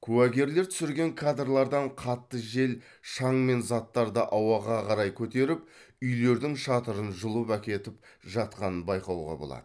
куәгерлер түсірген кадрлардан қатты жел шаң мен заттарды ауаға қарай көтеріп үйлердің шатырын жұлып әкетіп жатқанын байқауға болады